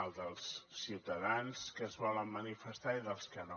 el dels ciutadans que es volen manifestar i dels que no